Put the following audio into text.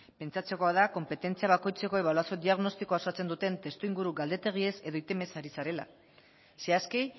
pentsatzekoa da konpetentzia bakoitzeko ebaluazio diagnostikoa osatzen duten testuinguru galdetegiez edo ari zarela zehazki